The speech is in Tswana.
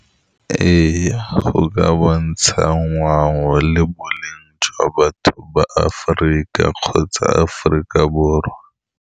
Ee, go ka bontsha ngwao le boleng jwa batho ba Aforika kgotsa Aforika Borwa.